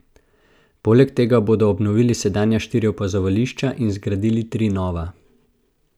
Poleg tega bodo obnovili sedanja štiri opazovališča in zgradili tri nova.